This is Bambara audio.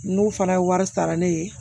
N'u fana ye wari sara ne ye